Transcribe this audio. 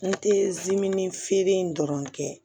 N tɛ dimi feere in dɔrɔn kɛ